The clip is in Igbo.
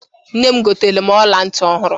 Nne m goteere m ọla ntị ọhụrụ.